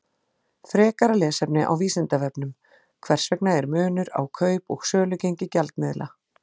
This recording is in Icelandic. Frekara lesefni á Vísindavefnum: Hvers vegna er munur á kaup- og sölugengi gjaldmiðla?